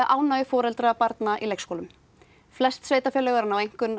ánægju foreldra barna í leikskólum flest sveitarfélög eru að ná einkunn